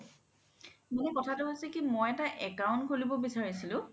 মানে কথাতো হৈছে কি মই এটা account খুলিব বিচাৰিছিলো